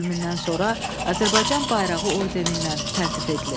Ölümündən sonra Azərbaycan bayrağı ordeni ilə təltif edilib.